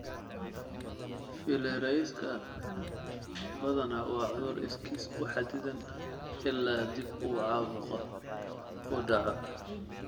Filariasika badanaa waa cudur iskiis u xaddidan ilaa dib u caabuqa uu dhaco.